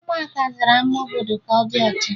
Ụmụaka zara ama obodo ka ọ dị ọcha